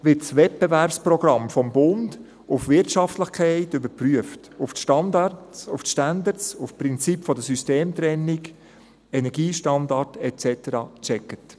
Das Wettbewerbsprogramm wird vom Bund auf Wirtschaftlichkeit überprüft, also auf die Standards, auf das Prinzip der Systemtrennung, den Energiestandard et cetera gecheckt.